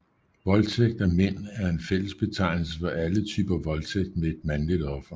Voldtægt af mænd er en fællesbetegnelse for alle typer voldtægt med et mandligt offer